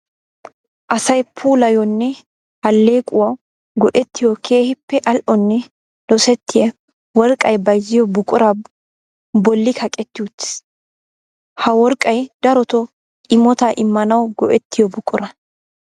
Asay puulaayyonne alleequwawu go'ettiyo keehippe ali'onne dosettiya worqqay bayzziyo buqura bolli kaqqeti uttiis. Ha worqqay darotto imotta immanawu go'ettiyo buqura.